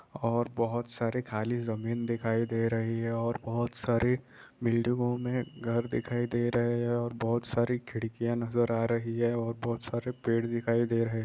और बहोत सारे खाली जमीन दिखाई दे रही है और बहोत सारी बिल्डिंगों मे घर दिखाई दे रहे हैं बहोत सारी खिड़किया नजर आ रही है और बहोत सारे पेड़ दिखाई दे रहे हैं।